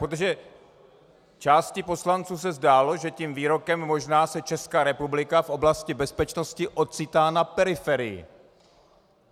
Protože části poslanců se zdálo, že tím výrokem možná se Česká republika v oblasti bezpečnosti ocitá na periferii.